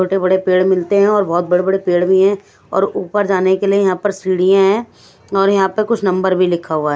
छोटे-बड़े पेड़ मिलते हैं और बहुत बड़े-बड़े पेड़ भी हैं और ऊपर जाने के लिए यहां पर सीढ़ियां हैं और यहां पर कुछ नंबर भी लिखा हुआ।